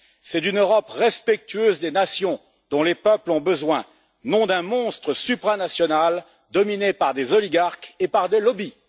C'est une Europe respectueuse des nations dont les peuples ont besoin, non d'un monstre supranational dominé par des oligarques et par des lobbies.